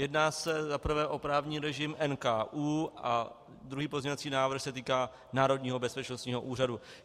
Jedná se za prvé o právní režim NKÚ a druhý pozměňovací návrh se týká Národního bezpečnostního úřadu.